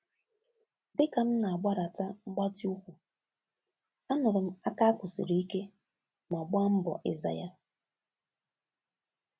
Dị ka m na-agbadata ngbati úkwù, a nụrụ m aka akụ sịrị ike ma gba mbọ ịza ya